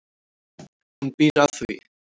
Hún býr að því.